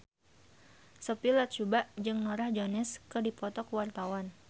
Sophia Latjuba jeung Norah Jones keur dipoto ku wartawan